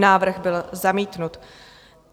Návrh byl zamítnut.